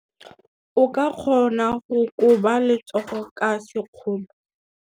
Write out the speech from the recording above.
O ka kgona go koba letsogo ka sekgono.